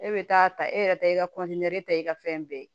E bɛ taa ta e yɛrɛ ta i ka ta i ka fɛn bɛɛ ye